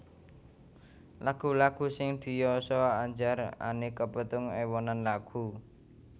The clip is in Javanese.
Lagu lagu sing diyasa Andjar Any kapétung ewonan lagu